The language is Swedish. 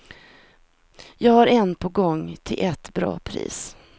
Jag har en på gång till ett bra pris.